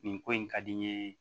Nin ko in ka di n ye